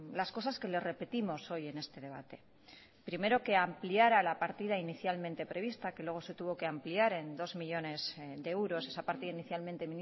las cosas que le repetimos hoy en este debate primero que ampliara la partida inicialmente prevista que luego se tuvo que ampliar en dos millónes de euros esa partida inicialmente